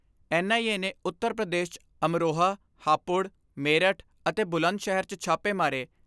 N I A ਨੇ ਉੱਤਰ ਪ੍ਰਦੇਸ਼ 'ਚ ਅਮਰੋਹਾ, ਹਾਪੁੜ, ਮੇਰਠ ਅਤੇ ਬੁਲੰਦ ਸ਼ਹਿਰ 'ਚ ਛਾਪੇ ਮਾਰੇ।